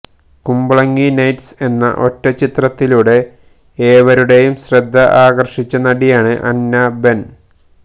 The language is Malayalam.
കുമ്പളങ്ങി നൈറ്റ്സ് എന്ന ഒറ്റച്ചിത്രത്തിലൂടെ ഏവരുടെയും ശ്രദ്ധ ആകർഷിച്ച നടിയാണ് അന്ന ബെൻ